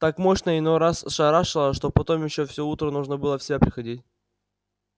так мощно иной раз шарашило что потом ещё всё утро нужно было в себя приходить